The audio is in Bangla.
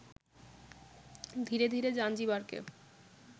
ধীরে ধীরে জাঞ্জিবারকে